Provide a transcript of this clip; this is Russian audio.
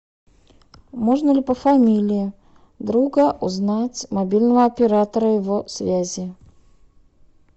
можно ли по фамилии друга узнать мобильного оператора его связи